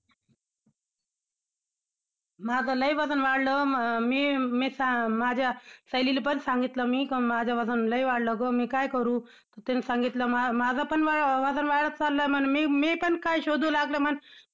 माझं लय वजन वाढलं मी~मी~ माझ्या सहेलीला पण सांगितलं मी कि माझं वजन लय वाढलं ग मी काय करू? तर तिने सांगितलं मा~ माझं पण वजन वाढत चाललंय म्हन मी मी पण काय शोधू लागलं म्हन!